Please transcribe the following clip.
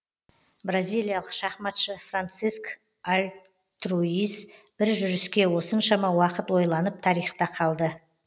бразиялық шахматшы франциск альтруис бір жүріске осыншама уақыт ойланып тарихта қалды